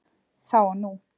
Þá og nú